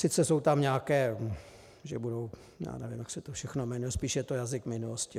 Sice jsou tam nějaké, že budou... já nevím, jak se to všechno jmenuje, spíš je to jazyk minulosti.